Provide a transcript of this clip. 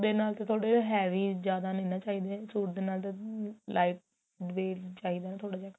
ਦੇ ਨਾਲ ਤਾਂ ਥੋੜਾ ਜਾ heavy ਜਿਆਦਾ ਨਹੀਂ ਨਾ ਚਾਹੀਦੇ suite ਦੇ ਨਾਲ lite weight ਚਾਹੀਦਾ ਨਾ ਥੋੜਾ ਜਾ